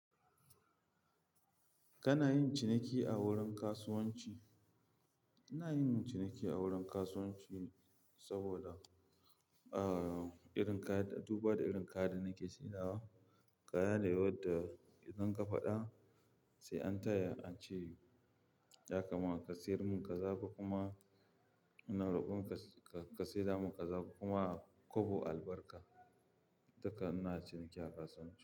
Kana yin ciniki a wurin kasuwanci? Ina yin ciniki a wurin kasuwanci saboda, uh, irin kayan-- duba da irin kayan da nake saidawa. Kaya ne wadda idan ka faɗa sai an taya an ce ya kama-- ka siyar mun ka za ko kuma ina rokon ka, ka saidamun ka za ko kuma kobo albarka. Haka ina ciniki a kasuwanci.